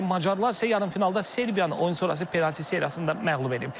Macarlar isə yarımfinalda Serbiyanı oyun sonrası penalticisi seriyasında məğlub edib.